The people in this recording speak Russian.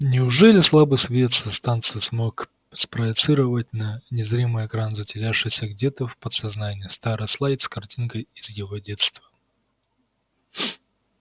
неужели слабый свет со станции смог спроецировать на незримый экран затерявшийся где-то в подсознании старый слайд с картинкой из его детства